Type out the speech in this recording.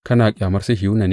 Kana ƙyamar Sihiyona ne?